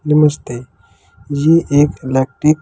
नमस्ते ये एक इलेक्ट्रिक --